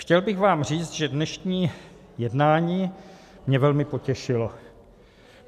Chtěl bych vám říct, že dnešní jednání mě velmi potěšilo.